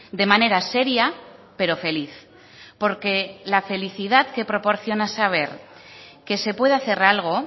de manera seria pero feliz porque la felicidad que proporciona saber que se puede hacer algo